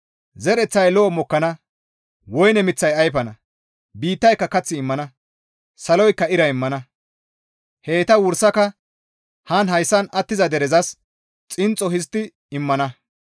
Zereththay lo7o mokkana; woyne miththay ayfana; biittayka kath immana; saloykka ira immana; heyta wursaka haan hayssan attiza derezas xinxxo histti immana.